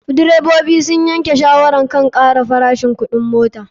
Direbobi sun yanke shawarar kan kara farashin kuɗin mota.